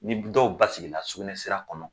Ni budɔw basigila sugunɛsira kɔnɔ